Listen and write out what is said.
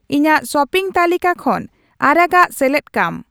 ᱤᱧᱟᱜ ᱥᱚᱯᱤᱝ ᱛᱟᱹᱞᱤᱠᱟ ᱠᱷᱚᱱ ᱟᱨᱟᱜ ᱟᱜ ᱥᱮᱞᱮᱫ ᱠᱟᱢ